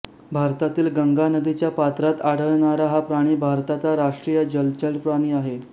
भारतातील गंगा नदीच्या पात्रात आढळणारा हा प्राणी भारताचा राष्ट्रीय जलचर प्राणी आहे